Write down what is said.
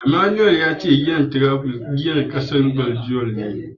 Emmanuel ya ce giyar Tiraifel giyar kasar Baljiyan ce.